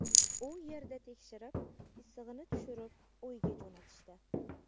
U yerda tekshirib, issig‘ini tushirib, uyga jo‘natishdi.